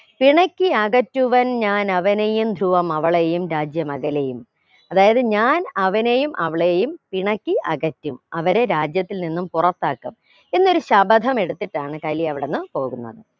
പിണക്കി അകറ്റുവൻ ഞാനവനെയും ധ്രുവമവളെയും രാജ്യമകലെയും അതായത് ഞാൻ അവനെയും അവളെയും പിണക്കി അകറ്റും അവരെ രാജ്യത്തിൽ നിന്നും പുറത്താക്കും എന്നൊരു ശപഥം എടുത്തിട്ടാണ് കലി അവിടെന്നും പോകുന്നത്